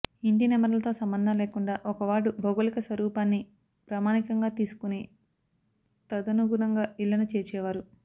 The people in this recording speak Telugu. ఇంటి నెంబర్లతో సంబంధం లేకుండా ఒక వార్డు భౌగోళిక స్వరూపాన్ని ప్రామాణికంగా తీసుకొని తదనుగుణంగా ఇళ్లను చేర్చేవారు